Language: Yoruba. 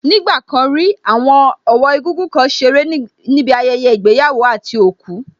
Ní ìgbà kan rí, àwọn ọ̀wọ́ egúngún kan ṣeré níbi ayẹyẹ ìgbéyàwó àti òkú